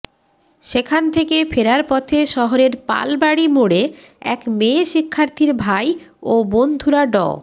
সেখান থেকে ফেরার পথে শহরের পালবাড়ি মোড়ে এক মেয়ে শিক্ষার্থীর ভাই ও বন্ধুরা ড